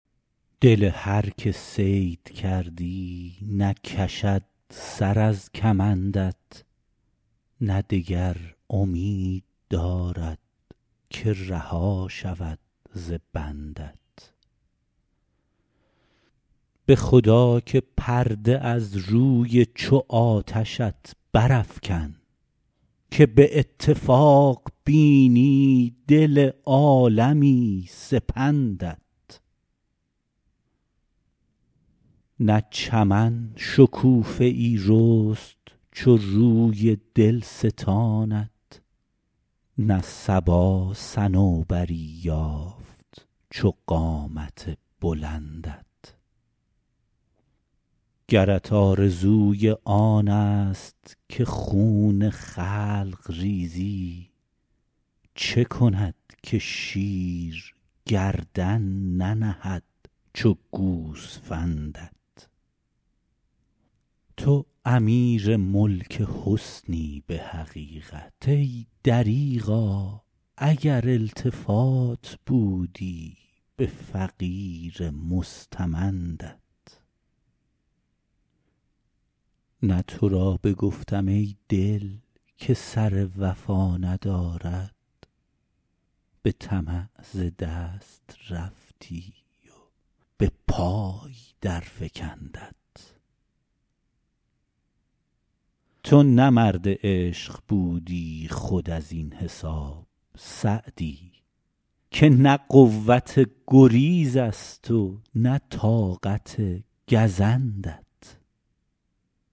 دل هر که صید کردی نکشد سر از کمندت نه دگر امید دارد که رها شود ز بندت به خدا که پرده از روی چو آتشت برافکن که به اتفاق بینی دل عالمی سپندت نه چمن شکوفه ای رست چو روی دلستانت نه صبا صنوبری یافت چو قامت بلندت گرت آرزوی آنست که خون خلق ریزی چه کند که شیر گردن ننهد چو گوسفندت تو امیر ملک حسنی به حقیقت ای دریغا اگر التفات بودی به فقیر مستمندت نه تو را بگفتم ای دل که سر وفا ندارد به طمع ز دست رفتی و به پای درفکندت تو نه مرد عشق بودی خود از این حساب سعدی که نه قوت گریزست و نه طاقت گزندت